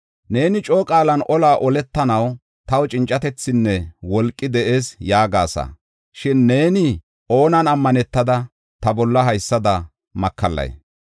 Neeni coo qaalan, olaa oletanaw taw cincatethinne wolqi de7ees yaagasa. Shin neeni oonan ammanetada ta bolla haysada makallay?